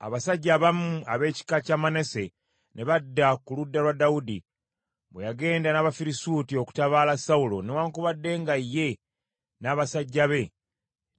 Abasajja abamu ab’ekika kya Manase ne badda ku ludda lwa Dawudi, bwe yagenda n’Abafirisuuti okutabaala Sawulo newaakubadde nga ye n’abasajja be